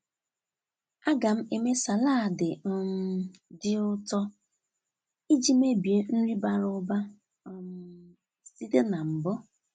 A ga m eme salaadi um dị ụtọ iji mebie nri bara ụba um site na mbụ.